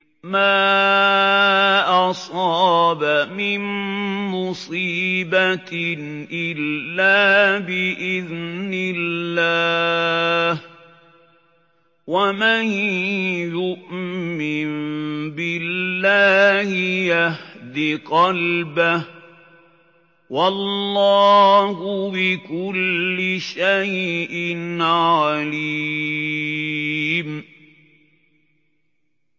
مَا أَصَابَ مِن مُّصِيبَةٍ إِلَّا بِإِذْنِ اللَّهِ ۗ وَمَن يُؤْمِن بِاللَّهِ يَهْدِ قَلْبَهُ ۚ وَاللَّهُ بِكُلِّ شَيْءٍ عَلِيمٌ